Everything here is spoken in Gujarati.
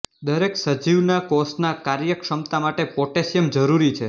દરેક સજીવના કોષના કાર્યક્ષમતા માટે પોટેશિયમ જરૂરી છે